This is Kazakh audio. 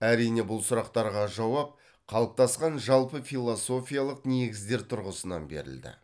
әрине бұл сұрақтарға жауап қалыптасқан жалпы философиялық негіздер тұрғысынан берілді